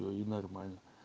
но не нормально